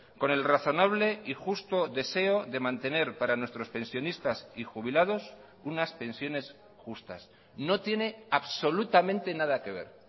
con el razonable y justo deseo de mantener para nuestros pensionistas y jubilados unas pensiones justas no tiene absolutamente nada que ver